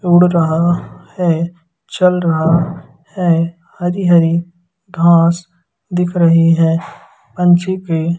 उड़ रहा हैं चल रहा हैं हरी हरी घांस दिख रही हैं पंछी के--